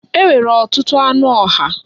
E nwere ọtụtụ anụ ọhịa.